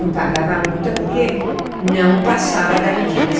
Não pagava a multa porque não passava da medida.